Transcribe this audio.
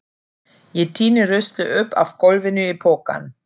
Ég týni ruslið upp af gólfinu í pokann.